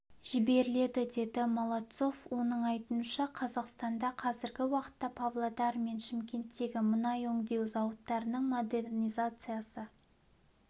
жіберіледі деді молодцов оның айтуынша қазақстанда қазіргі уақытта павлодар мен шымкенттегі мұнай өңдеу зауыттарының модернизациясы